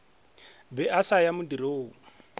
be a sa ya modirong